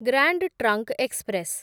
grand trunk express